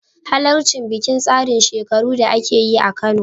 Halarci bikin tsarin shekaru da ake yi a Kano